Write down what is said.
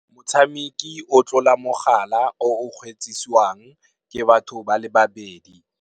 Motshameki o tlola mogala o o kgweetsisiwang, ke batho ba le babedi.